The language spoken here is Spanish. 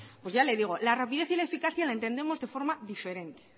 pues ya le digo la rapidez y la eficacia la entendemos de forma diferente